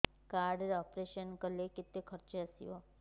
card ରେ operation କଲେ କେତେ ଖର୍ଚ ଆସିବ